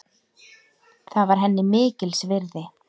Það var henni mikils virði.